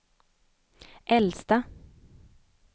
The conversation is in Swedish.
äldsta